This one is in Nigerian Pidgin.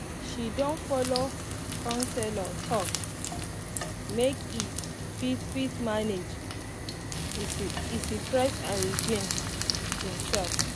he don follow counselor talk um make e um fit fit manage e stress and regain um himself